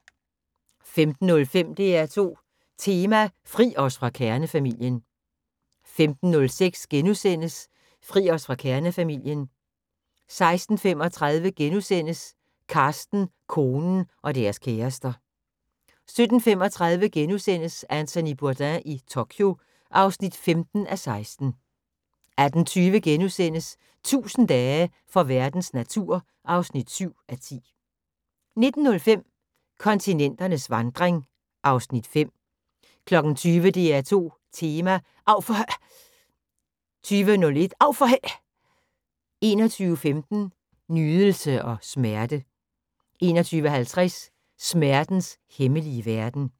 15:05: DR2 Tema: Fri os fra kernefamilien 15:06: Fri os fra kernefamilien * 16:35: Carsten, konen – og deres kærester * 17:35: Anthony Bourdain i Tokyo (15:16)* 18:20: 1000 dage for verdens natur (7:10)* 19:05: Kontinenternes vandring (Afs. 5) 20:00: DR2 Tema: Av for h......! 20:01: Av for h......! 21:15: Nydelse og smerte 21:50: Smertens hemmelige verden